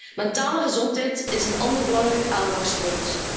De mentale gezondheid is een ander belangrijk aandachtspunt.